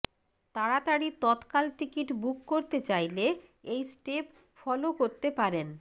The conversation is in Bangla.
তাড়াতাড়ি তৎকাল টিকিট বুক করতে চাইলে এই স্টেপ ফলো করতে পারেন